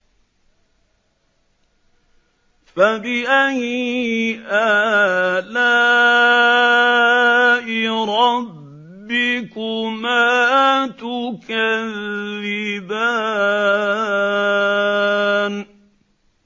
فَبِأَيِّ آلَاءِ رَبِّكُمَا تُكَذِّبَانِ